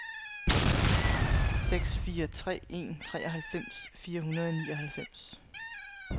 seks fire tre en treoghalvfems fire hundrede og nioghalvfems